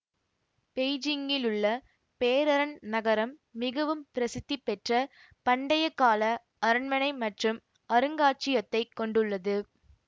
பெய்ஜிங்கிலுள்ள பேரரண் நகரம் மிகவும் பிரசித்தி பெற்ற பண்டையகால அரண்மனை மற்றும் அருங்காட்சியத்தைக் கொண்டுள்ளது